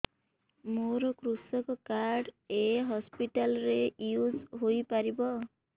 ମୋର କୃଷକ କାର୍ଡ ଏ ହସପିଟାଲ ରେ ୟୁଜ଼ ହୋଇପାରିବ